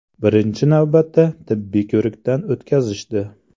Birinchi navbatda tibbiy ko‘rikdan o‘tkazishdi.